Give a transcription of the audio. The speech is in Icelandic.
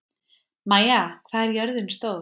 Maia, hvað er jörðin stór?